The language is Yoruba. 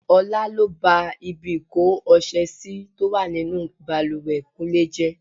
Ọlá lọ bá ibi ìko ọṣẹ sì tó wà nínú bàlùwẹ̀ kúnlé jẹ́.